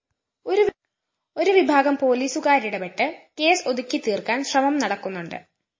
ഒരു വിഭാഗം പോലീസുകാരിടപെട്ട് കേസ് ഒതുക്കിത്തീര്‍ക്കാന്‍ ശ്രമം നടക്കുന്നുണ്ട്